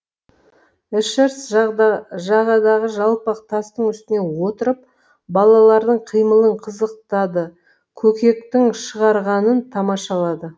эшерст жағадағы жалпақ тастың үстіне отырып балалардың қимылын қызықтады көкектің шығарғанын тамашалады